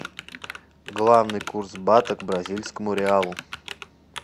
главный курс бата к бразильскому реалу